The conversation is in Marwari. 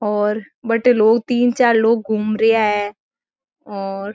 और बटे लोग तीन चार लोग घुमरिया है और--